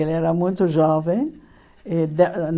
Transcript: Ele era muito jovem. E da